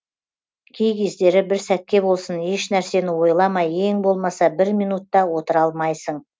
кей кездері бір сәтке болсын ешнәрсені ойламай ең болмаса бір минут та отыра алмайсың